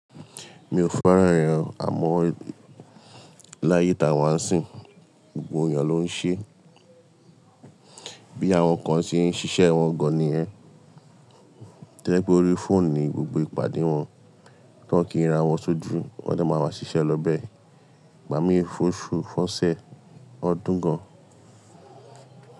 Mi ò fẹ́ràn ẹ̀yàn amọ́ láyé Tawa n sìn. Gbogbo èèyàn ló ń ṣe, bí àwọn kan ṣe ń ṣiṣẹ́ wọn gan-an ni yẹ́n. To ye pe ó rí fóònù ni gbogbo ìpàdé wọn, tí wọ́n kí n ri ra wọn sójú, wọ́n de máa má ṣiṣẹ́ lọ bẹ́ẹ̀. Igbà mí fòṣù fọ́ṣẹ́ ọdún gan-an.